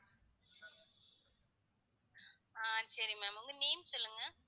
ஆஹ் சரி ma'am உங்க name சொல்லுங்க